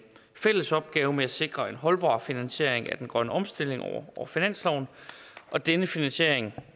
fælles opgave med at sikre en holdbar finansiering af den grønne omstilling over finansloven og denne finansiering